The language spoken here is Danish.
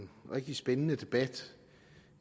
en rigtig spændende debat